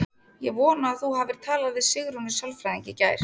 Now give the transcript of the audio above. Ég vona að þú hafir talað við Sigrúnu sálfræðing í gær.